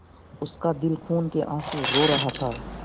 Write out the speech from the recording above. उसका दिल खून केआँसू रो रहा था